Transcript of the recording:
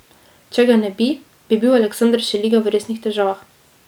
Če ga ne bi, bi bil Aleksander Šeliga v resnih težavah.